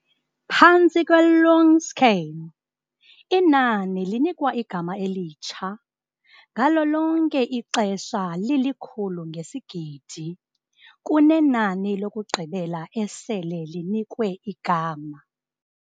Phantsi kwe-"long scale" inani linikwa igama elitsha ngalo lonke ixesha lilikhulu ngesigidi kune nani lokugqibela esele linikwe igama.